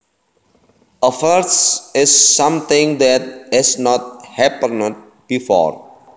A first is something that has not happened before